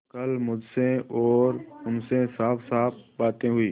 कल मुझसे और उनसे साफसाफ बातें हुई